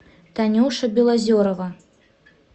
танюша белозерова